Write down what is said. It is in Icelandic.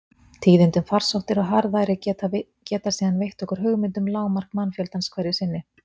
Tíðindi um farsóttir og harðæri geta síðan veitt okkur hugmynd um lágmark mannfjöldans hverju sinni.